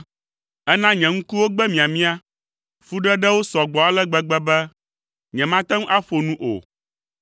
Èna nye ŋkuwo gbe miamia; fuɖeɖewo sɔ gbɔ ale gbegbe be nyemate ŋu aƒo nu o.